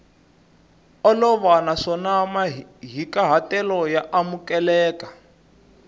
olova naswona mahikahatelo ya amukeleka